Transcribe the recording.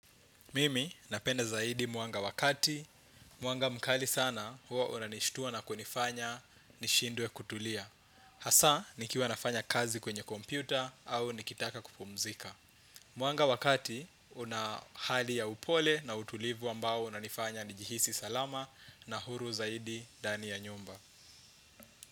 Mimi napenda zaidi mwanga wakati, mwanga mkali sana huwa unanishtua na kunifanya nishindwe kutulia. Hasaa nikiwa nafanya kazi kwenye kompyuta au nikitaka kupumzika. Mwanga wakati una hali ya upole na utulivu ambao unanifanya nijihisi salama na huru zaidi ndani ya nyumba.